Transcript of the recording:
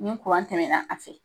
Ni kuran tɛmɛna a fɛ .